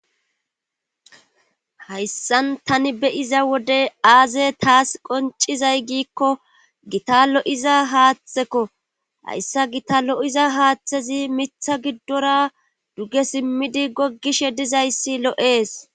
hayssan tani beyiza wode aaze taas qoncizay giikko gita lo7iza haaththeko hayssa gita lo7iza haaththezi mitha giddora duge simmidi goggishe dizayssi lo7ees